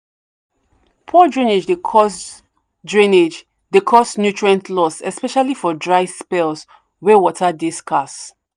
poor drainage dey cause drainage dey cause nutrient loss especially for dry spells wey water dey scarce.